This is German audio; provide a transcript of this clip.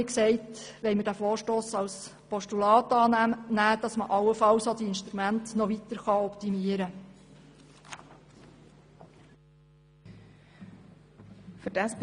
Wir möchten diesen Vorstoss nun als Postulat annehmen, damit man diese Instrumente allenfalls noch weiter optimieren kann.